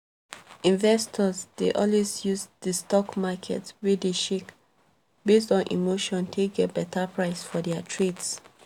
investors dey always use di stock market wey dey shake based on emotion take get betta price for dia trades